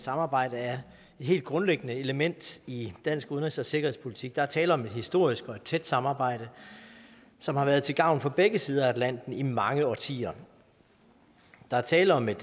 samarbejde er et helt grundlæggende element i dansk udenrigs og sikkerhedspolitik der er tale om et historisk og et tæt samarbejde som har været til gavn for begge sider af atlanten i mange årtier der er tale om et